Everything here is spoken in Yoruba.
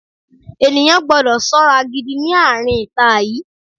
Ènìyàn gbọ́dọ̀ ṣọ́ra gidi ní àárín ita yìí.